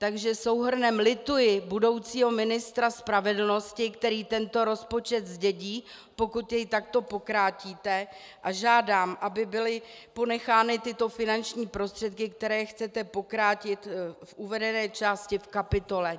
Takže souhrnem lituji budoucího ministra spravedlnosti, který tento rozpočet zdědí, pokud jej takto pokrátíte, a žádám, aby byly ponechány tyto finanční prostředky, které chcete pokrátit v uvedené části v kapitole.